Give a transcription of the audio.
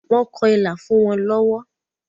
Wọ́n kọ ilà fún wọn lọ́wọ́.